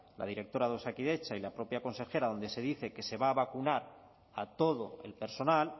la directora de osakidetza y la propia consejera donde se dice que se va a vacunar a todo el personal